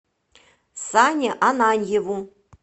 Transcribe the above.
сане ананьеву